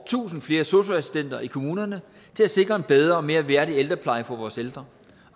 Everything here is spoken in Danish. tusind flere sosu assistenter i kommunerne til at sikre en bedre og mere værdige pleje for vores ældre